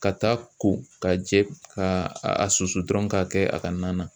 Ka taa ko ka jɛ k'a a susu dɔrɔn k'a kɛ a ka na na